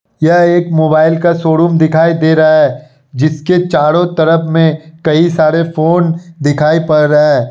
यह एक मोबाइल का शोरूम दिखाई दे रहा है जिसके चारो तरफ में कई सारे फोन दिखाई पड़ रहा --